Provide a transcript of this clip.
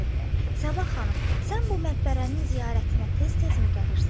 Səbah xanım, sən bu məqbərənin ziyarətinə tez-tezmi gəlirsən?